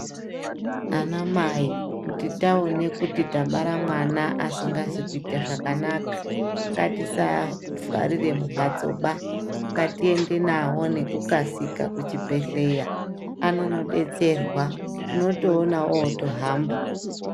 Anamai kuti taone kuti tabara mwana asikasi kuite zvakanaka, ngatisavharire mumhatsoba. Ngatiende nawo nekukasika kuchibhedhleya, anonodetserwa. Unotoona otohamba.